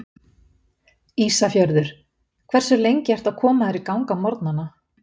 Ísafjörður Hversu lengi ertu að koma þér í gang á morgnanna?